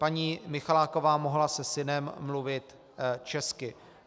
Paní Michaláková mohla se synem mluvit česky.